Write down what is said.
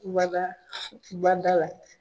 Bada , bada la.